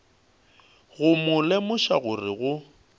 go mo lemoša gore ge